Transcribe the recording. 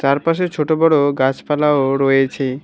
চারপাশে ছোট বড়ো গাছপালাও রয়েছে।